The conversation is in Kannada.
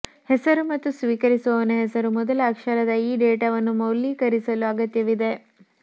ಹೆಸರು ಮತ್ತು ಸ್ವೀಕರಿಸುವವ ಹೆಸರು ಮೊದಲ ಅಕ್ಷರದ ಈ ಡೇಟಾವನ್ನು ಮೌಲ್ಯೀಕರಿಸಲು ಅಗತ್ಯವಿದೆ